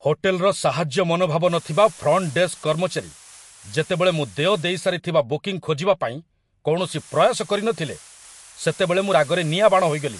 ହୋଟେଲ୍‌ର ସାହାଯ୍ୟ ମନୋଭାବ ନଥିବା ଫ୍ରଣ୍ଟ ଡେସ୍କ କର୍ମଚାରୀ ଯେତେବେଳେ ମୁଁ ଦେୟ ଦେଇସାରିଥିବା ବୁକିଂ ଖୋଜିବାପାଇଁ କୌଣସି ପ୍ରୟାସ କରିନଥିଲେ, ସେତେବେଳେ ମୁଁ ରାଗରେ ନିଆଁବାଣ ହୋଇଗଲି।